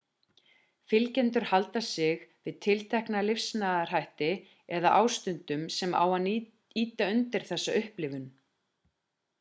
fylgjendur halda sig við tiltekna lifnaðarhætti eða ástundum sem á að ýta undir þessa upplifun